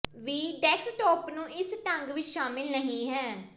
ਵੀ desktop ਨੂੰ ਇਸ ਢੰਗ ਵਿੱਚ ਸ਼ਾਮਲ ਨਹੀ ਹੈ